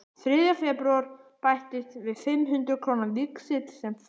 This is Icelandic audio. Þriðja febrúar bættist við fimm hundruð króna víxill sem frú